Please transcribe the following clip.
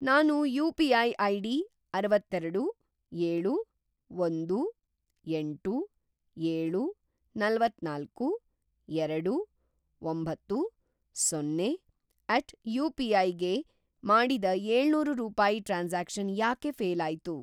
ನಾನು UPI. ID ಅರವತ್ತೇರಡು, ಏಳು, ಒಂದು, ಎಂಟು, ಏಳು, ನಲವತ್ತನಾಲ್ಕು, ಎರಡು, ಒಂಬತ್ತು, ಸೊನ್ನೆ ಎಟ್ ಯುಪಿಐ ಗೆ ಮಾಡಿದ ಏಳ್ನೂರು ರೂಪಾಯಿ ಟ್ರಾನ್ಸಾಕ್ಷನ್‌ ಯಾಕೆ ಫ಼ೇಲ್‌ ಆಯ್ತು?